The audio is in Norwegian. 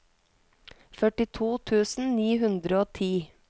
førtito tusen ni hundre og ti